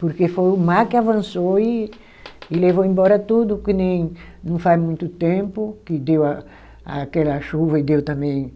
Porque foi o mar que avançou e e levou embora tudo, que nem não faz muito tempo, que deu a aquela chuva e deu também